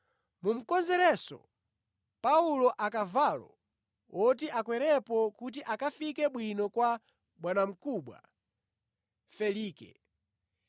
Mumukonzerenso Paulo akavalo woti akwerepo kuti akafike bwino kwa bwanamkubwa Felike.”